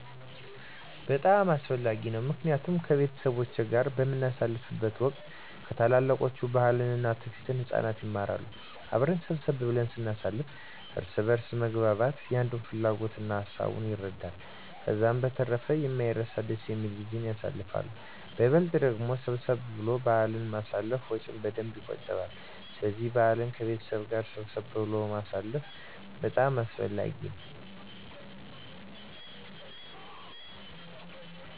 በጣም አስፈላጊ ነው ምክንያቱም ከቤተሰብ ጋር በምናሳልፍበት ወቅት ከታላላቆች ባህልን እና ትውፊትን ህፃናት ይማራሉ። አብረን ሰብሰብ ብለን ስናሳልፍ እርስ በእርስ መግባባት የአንዱን ፍላጎት እና ሀሳብ አንዱ ይረዳል። ከዛ በተረፈ የማይረሳ ደስ የሚል ጊዜን ያሳልፋሉ በይበልጥ ደግሞ ሰብሰብ ብሎ በአልን ማሳለፍ ወጭን በደንብ የቆጥባል ስለዚህ በአልን ከቤተሰብ ጋር ሰብሰብ ብሎ ማሳለፍ በጣም አስፈላጊ ነው።